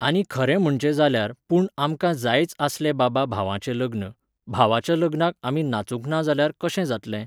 आनी खरें म्हणचें जाल्यार, पूण आमकां जायच आसलें बाबा भावाचें लग्न, भावाच्या लग्नाक आमी नाचूंक ना जाल्यार कशें जातलें?